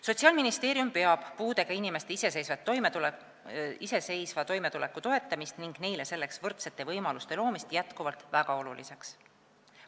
" Sotsiaalministeerium peab puudega inimeste iseseisva toimetuleku toetamist ning neile selleks võrdsete võimaluste loomist jätkuvalt väga oluliseks.